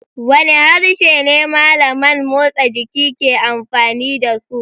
Wane harshe ne malaman motsa jiki ke amfani da su?